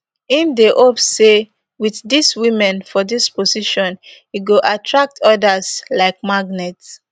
im dey hope say with dis women for dis positions e go attract odas like magnet